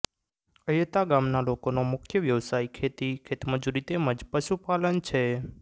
અયતા ગામના લોકોનો મુખ્ય વ્યવસાય ખેતી ખેતમજૂરી તેમ જ પશુપાલન છે